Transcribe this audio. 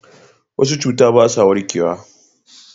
wasu cuta ba sa warkewa